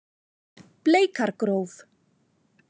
Bleikargróf